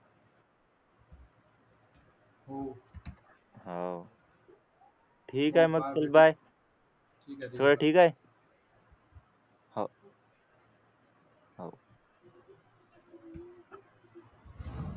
हा हो ठीक आहे मग चल बाय सगळं ठीक हाय हो हो